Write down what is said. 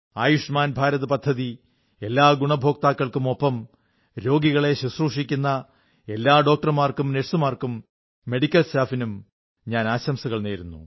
ആയുഷ്മാൻ ഭാരത് പദ്ധതി എല്ലാ ഗുണഭോക്താക്കൾക്കുമൊപ്പം രോഗികളെ ശുശ്രൂഷിക്കുന്ന എല്ലാ ഡോക്ടർമാർക്കും നേഴ്സുമാർക്കും മെഡിക്കൽ സ്റ്റാഫിനും ആശംസകൾ നേരുന്നു